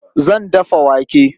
Zan dafa wake.